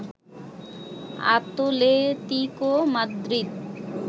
Atletico Madrid